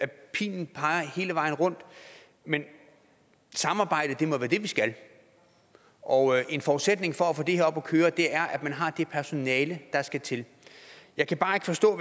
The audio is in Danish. pilen peger hele vejen rundt men samarbejde må være det vi skal og en forudsætning for at få det her op at køre er at man har det personale der skal til jeg kan bare ikke forstå at